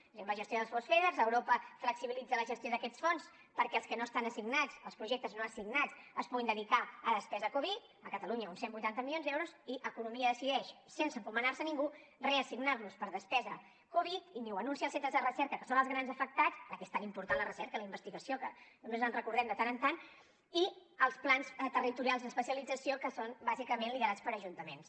és a dir amb la gestió dels fons feder europa flexibilitza la gestió d’aquests fons perquè els que no estan assignats els projectes no assignats es puguin dedicar a despesa covid a catalunya uns cent i vuitanta milions d’euros i economia decideix sense encomanar se a ningú reassignar los per a despesa covid i ni ho anuncia als centres de recerca que són els grans afectats ja que és tan important la recerca la investigació que només ens en recordem de tant en tant i els plans territorials d’especialització que són bàsicament liderats per ajuntaments